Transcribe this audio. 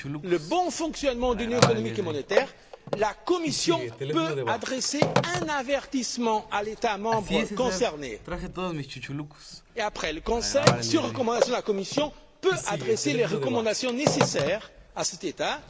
le bon fonctionnement de l'Union économique et monétaire, la Commission peut adresser un avertissement à l'État membre concerné. Et après Le Conseil, sur recommandation de la Commission, peut adresser les recommandations nécessaires à cet